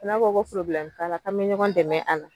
Ko n'a ko ko forobilɛmu t'a k'an bɛ ɲɔgɔn dɛmɛ a la.